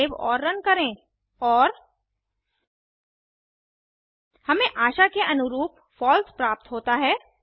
save और run करें और हमें आशा के अनुरूप फॉल्स प्राप्त होता है